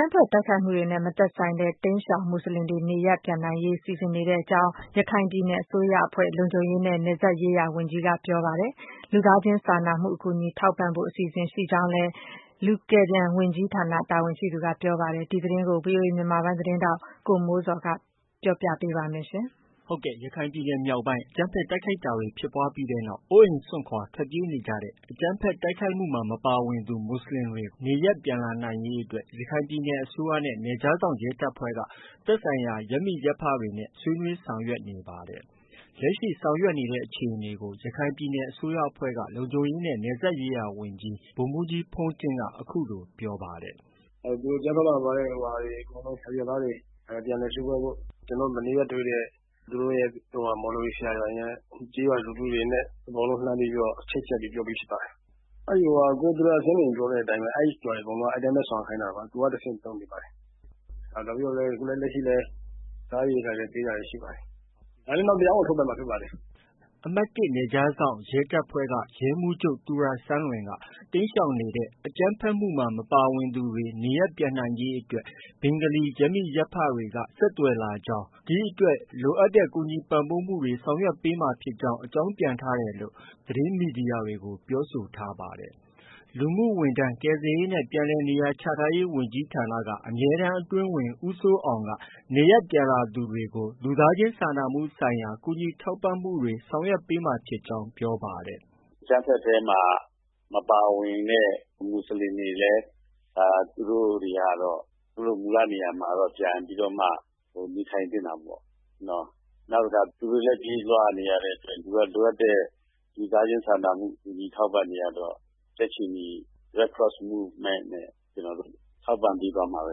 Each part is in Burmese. မ်းဖက်တိုက်ခိုက်မှုမှာ မပါဝင်တဲ့ တိမ်းရှောင် မူဆလင်တွေ နေရပ်ပြန်နိုင်ရေး အတွက် ဆောင်ရွက်ဖို့စီစဉ် နေကြောင်း ရခိုင်ပြည်နယ်အစိုးရအဖွဲ့ လုံခြုံရေးနဲ့ နယ်စပ်ရေးရာဝန်ကြီးက ပြောပါတယ်။ လူကယ်ပြန် ဝန်ကြီး ဌာန တာဝန်ရှိသူက လူသားချင်းစာနာမှုအကူအညီထောက်ပံ့ဖို့ အစီအစဉ်ရှိကြောင်း ပြောပါတယ်။ ဒီသတင်းကို ဗွီအိုအေမြန်မာပိုင်းရဲ့အစီအစဉ်သတင်းထောက်ကိုမိုးဇော်က တင်ပြထားပါတယ်။ ရခိုင်ပြည်နယ်မြောက်ပိုင်း အကြမ်းဖက်တိုက်ခိုက်တာတွေဖြစ်ပွားပြီးနောက် အိုးအိမ်စွန့်ခွာ ထွက်ပြေး နေကြတဲ့ အကြမ်းဖက်တိုက်ခိုက်မှုမှာ မပါဝင်သူမူဆလင်တွေကို နေရပ်ပြန်လာနိုင်ရေးအတွက် ရခိုင်ပြည်နယ် အစိုးရနဲ့ နယ်ခြားစောင့်ရဲတပ်ဖွဲ့က သက်ဆိုင်ရာရပ်မိရပ်ဖတွေနဲ့ ဆွေးနွေးဆောင်ရွက်နေပါတယ်။ လက်ရှိ ဆောင်ရွက်နေတဲ့အခြေအနေကို ရခိုင်ပြည်နယ် အစိုးရအဖွဲ့က လုံခြုံရေးနဲ့ နယ်စပ်ရေးရာ ဝန်ကြီးဗိုလ်မှုးကြီး ဘုန်းတင့်က အခုလို ပြောပါတယ်။ “သူတို့ အကြမ်းဖက်မှာ မပါဝင်တဲ့ အရပ်သားတွေ ပြန်လည်စုဖွဲ့ဖို့ ကျနေ်ာတို့ မနေ့က တွေ့တဲ့ မော်လဝီ ဆရာတွေနဲ့ ကျေးရွာလူထုတွေနဲ့ ကျနော်တို့ လှမ်းပြီးတော့ ချိတ်ဆက်ပြီး ပြောပြီးဖြစ်ပါတယ်။ ကိုသူရစန်းလွင် ပြောတဲ့အတိုင်းပဲ အဲဒီရွာတွေအကုန်လုံးက အဲဒီအတိုင်းဆောင်ရွက်ခိုင်းတာပါ။ သူက တဆင့်လုပ်နေပါတယ်။ နောက် အခုလည်း စားရေရိက္ခာတွေ ပေးတာရှိပါတယ်။ ဒါလည်းနောက် တရားဝင်ထုတ်ပြန်မှာဖြစ်ပါတယ်။ ” အမှတ်၁နယ်ခြားစောင့်ရဲတပ်ဖွဲ့ကရဲမှုးချုပ် သူရစန်းလွင်က တိမ်းရှောင်နေတဲ့ အကြမ်းဖက်မှုမှာ မပါဝင်သူ နေရပ်ပြန်နိုင်ရေးအတွက် ဘင်္ဂါလီရပ်မိရပ်ဖတွေက ဆက်သွယ်လာပြီး ဒီအတွက် လိုအပ်တဲ့ ကူညီပံ့ပိုးတာတွေ ဆောင်ရွက်မှာဖြစ်ကြောင်း အကြောင်းပြန်ကြားထားတယ်လို့ သတင်းမီဒီယာတွေကို ပြောဆိုထားပါတယ်။ လူမှုဝန်ထမ်း၊ ကယ်ဆယ်ရေးနဲ့ ပြန်လည်နေရာချထားရေးဝန်ကြီးဌာနက အမြဲတမ်းအတွင်းဝန် ဦးစိုးအောင်က နေရပ်ပြန်လာသူတွေကို လူသားချင်းစာနာမှုဆိုင်ရာ ကူညီထောက်ပံ့မှုတွေဆောင်ရွက်မှာဖြစ်ကြောင်း ပြောပါတယ်။ “အကြမ်းဖက်ထဲမှာ မပါဝင်တဲ့ မူဆလင်တွေလည်း သူတို့ မူလနေရာမှာတော့ ပြန်ပြီး နေထိုင်သင့်တာပေါ့။ နောက်တခါ သူတို့လည်း ပြေးလွှားနေရတဲ့အတွက် လိုအပ်တဲ့ လူသားချင်းစာနာမှု ကူညီထောက်ပံ့တွေကတော့ ကြက်ခြေနီ Red Cross Movement နဲ့ ကျနော်တို့ ထောက်ပံ့ပေးသွားမှာပဲ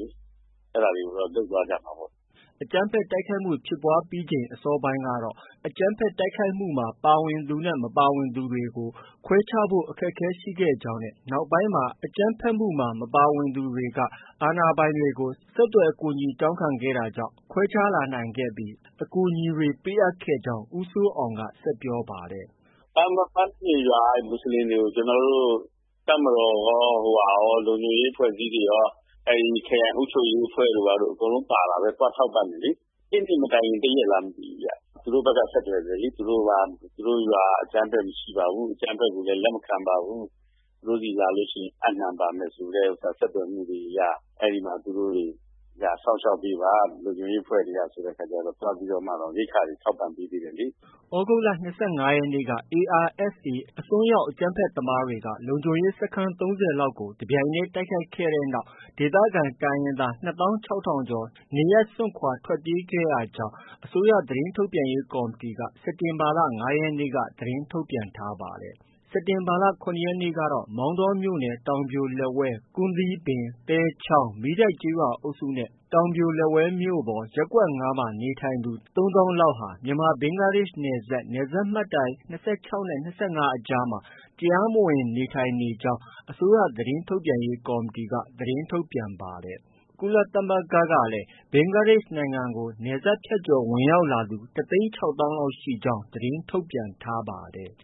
လေ။ အဲဒါတွေကိုတော့ လုပ်သွားကြမှာပေါ့။” အကြမ်းဖက်တိုက်ခိုက်မှုဖြစ်ပွားပြီးချိန်အစောပိုင်းကတော့ အကြမ်းဖက် တိုက်ခိုက်တာမှာ ပါဝင်သူနဲ့ မပါဝင်သူ တွေကို ခွဲခြားဖို့ အခက်အခဲရှိခဲ့ကြောင်းနဲ့ နောက်ပိုင်း အကြမ်းဖက်မှုမှာ မပါဝင်သူတွေကို ကူညီခဲ့တာတွေ ရှိခဲ့ ကြောင်းလည်း ဦးစိုးအောင်က ဆက်ပြောပါတယ်။ “ပန်းတောပြင်ရွာက မူဆလင်တွေကို ကျနော်တို့၊ တပ်မတော်ကော၊ လုံခြုံရေး အဖွဲ့အစည်းတွေကော၊ ခရိုင်အုပ်ချုပ်ရေးအဖွဲ့တို့ ဘာတို့ အကုန်လုံးပါတာပဲ သွားထောက်ပံ့တယ်လေ။ အစ်နေ့ မတိုင်ခင် တရက်လားမသိဘူးဗျ။ သူတို့ ဖက်က ဆက်သွယ်တယ်လေ။ သူတို့က သူတို့ရွာမှာ အကြမ်းဖက်မရှိပါဘူး။ အကြမ်းဖက်ကိုလည်း လက်မခံပါဘူး။ သူတို့ဆီလာလို့ ရှိရင် အပ်နှံပါမယ်ဆိုတဲ့ ဆက်သွယ်မှုတွေအရ အဲဒီမှာ သူတို့တွေ လာစောင့်ရှောက်ပေးပါ လုံခြုံရေးအဖွဲ့တွေကနေ ဆိုတဲ့အခါက သွားပြီးတော့တောင် ရိက္ခာတွေ ထောက်ပံ့ပေးသေးတယ်လေ။” သြဂုတ်လ ၂၅ရက်နေ့က ARSA အစွန်းရောက် အကြမ်းဖက်သမားတွေက လုံခြုံရေးစခန်း ၃၀လောက်ကို တပြိုင်တည်း တိုက်ခိုက်ခဲ့တဲ့နောက် ဒေသခံတိုင်းရင်းသား ၂သောင်း ၆ထောင်ကျော် နေရပ်စွန့်ခွာ ထွက်ပြေးခဲ့ ကြောင်း အစိုးရသတင်းထုတ်ပြန်ရေးကော်မတီ စက်တင်ဘာလ ၅ရက်နေ့က သတင်းထုတ်ပြန်ထားပါတယ်။ စက်တင်ဘာလ ၇ရက်နေ့ကတော့ မောင်တောမြို့နယ် တောင်ပြိုလက်ဝဲမြို့၊ ကွမ်းသီးပင်၊ သဲချောင်း၊ မီးတိုက်ကျေးရွာအုပ်စုနဲ့တောင်ပြိုလက်ဝဲမြို့ပေါ် ရပ်ကွက် ၅ ရပ်ကွက် တို့မှာ နေထိုင်သူ ၃သောင်းလောက်ဟာ မြန်မာ- ဘင်္ဂလားဒေ့ရှ်နယ်စပ် မှတ်တိုင် ၂၆နဲ့ ၃၅အကြားမှာ တရားမဝင်နေထိုင်နေကြောင်း အစိုးရသတင်းထုတ်ပြန်ရေးကော်မတီ သတင်းထုတ်ပြန်ပါတယ်။ ကုလသမဂ္ဂကလည်း ဘင်္ဂလားဒေ့ရှ်နိုင်ငံကို နယ်စပ်ဖြတ်ကျော်ဝင်ရောက်လာသူ၁သိန်း၆သောင်းလောက် ရောက်ရှိနေကြောင်း သတင်းထုတ်ပြန်ထားပါတယ်။